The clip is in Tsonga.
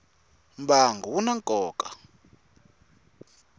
mbangu wu na nkoka